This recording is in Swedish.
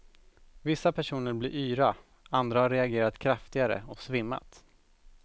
Vissa personer blir yra, andra har reagerat kraftigare och svimmat.